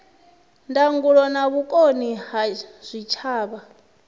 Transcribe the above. ndangulo na vhukoni ha zwitshavha